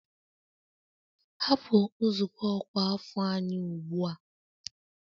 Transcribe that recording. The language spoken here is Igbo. Hapụ nzukọ ọkwa afọ anyị ugbu a!